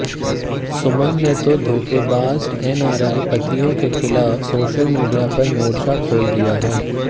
सुमन ने तो धोखेबाज एनआरआई पतियों के खिलाफ सोशल मीडिया पर मोर्चा खोल दिया है